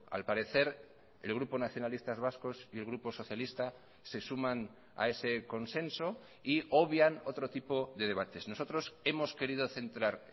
al parecer el grupo nacionalistas vascos y el grupo socialista se suman a ese consenso y obvian otro tipo de debates nosotros hemos querido centrar